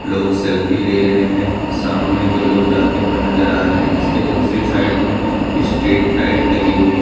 लोग सेल्फी ले रहे हैं सामने दो लोग जाते हुए नजर आ रहे हैं जिसके दूसरी साइड में स्ट्रीट लाइट लगी हुई हैं।